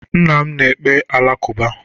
Nna m na-ekpe Alakụba.